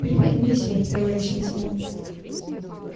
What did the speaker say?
припозднились вы товарищ лейтенант